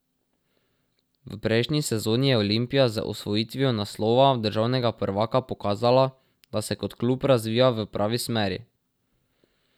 V prejšnji sezoni je Olimpija z osvojitvijo naslova državnega prvaka pokazala, da se kot klub razvija v pravi smeri.